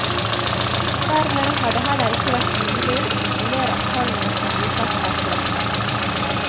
Dermed har det heller ikke vært mulig å kontrollere at tallene som brukes er korrekte.